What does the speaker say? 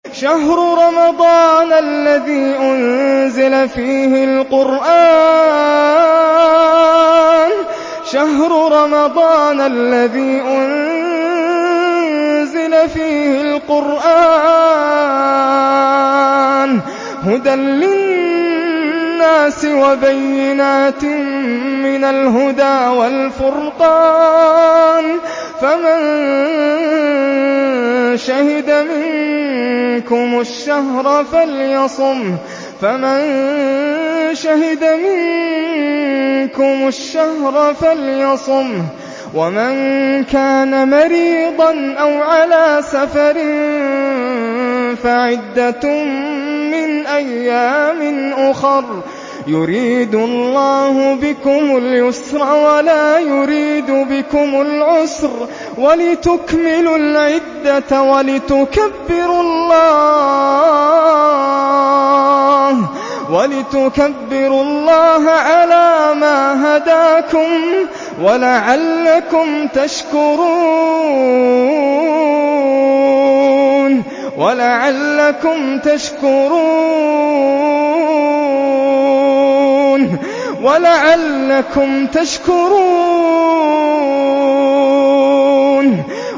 شَهْرُ رَمَضَانَ الَّذِي أُنزِلَ فِيهِ الْقُرْآنُ هُدًى لِّلنَّاسِ وَبَيِّنَاتٍ مِّنَ الْهُدَىٰ وَالْفُرْقَانِ ۚ فَمَن شَهِدَ مِنكُمُ الشَّهْرَ فَلْيَصُمْهُ ۖ وَمَن كَانَ مَرِيضًا أَوْ عَلَىٰ سَفَرٍ فَعِدَّةٌ مِّنْ أَيَّامٍ أُخَرَ ۗ يُرِيدُ اللَّهُ بِكُمُ الْيُسْرَ وَلَا يُرِيدُ بِكُمُ الْعُسْرَ وَلِتُكْمِلُوا الْعِدَّةَ وَلِتُكَبِّرُوا اللَّهَ عَلَىٰ مَا هَدَاكُمْ وَلَعَلَّكُمْ تَشْكُرُونَ